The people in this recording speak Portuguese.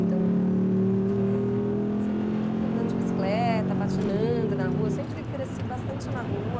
Então, eh, sempre andando de bicicleta, patinando na rua, sempre cresci bastante na rua.